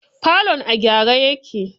Falon a gyare yake.